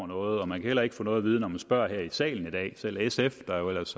noget og man kan heller ikke få noget at vide når man spørger her i salen i dag selv sf der jo ellers